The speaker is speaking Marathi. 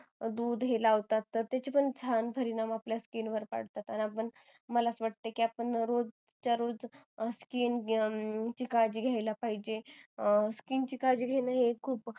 दूध हे लावतात तर त्याचे पण छान परिणाम आपल्या skin वर पडतात आणि आपण मला अस वाटतंय की आपण रोज च्या रोज skin ची काळजी घ्यायला पाहिजेल skin ची काळजी घ्यायला हे खूप